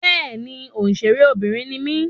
Béèni òṣèré Obìnrin ni mí